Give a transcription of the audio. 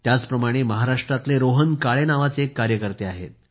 याच प्रमाणे महाराष्ट्रातले रोहन काळे नावाचे एक कार्यकर्ते आहेत